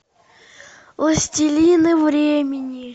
властелины времени